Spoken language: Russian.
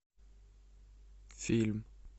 фильм